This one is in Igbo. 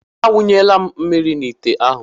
A wunyela m mmiri n'ite ahụ.